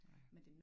Nej